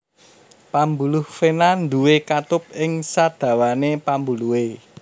Pambuluh vena nduwé katup ing sadawané pambuluhé